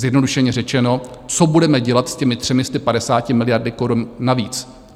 Zjednodušeně řečeno, co budeme dělat s těmi 350 miliardami korun navíc?